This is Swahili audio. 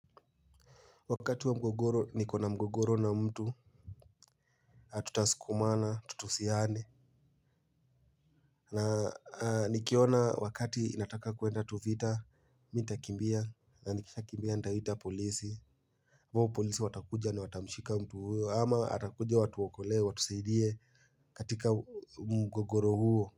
Wakati wa mgogoro nikona mgogoro na mtu hatutasukumana tutusiane. Na nikiona wakati inataka kuenda tuvita mi ntakimbia na nikisha kimbia ntahita polisi huo polisi watakuja na watamshika mtu huyo ama atakuja watuokoleo watusaidie katika mgogoro huo.